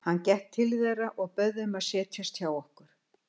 Hann gekk til þeirra og bauð þeim að setjast hjá okkur.